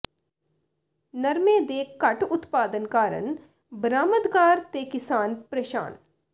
ਨਰਮੇ ਦੇ ਘੱਟ ਉਤਪਾਦਨ ਕਾਰਨ ਬਰਾਮਦਕਾਰ ਤੇ ਕਿਸਾਨ ਪ੍ਰੇਸ਼ਾਨ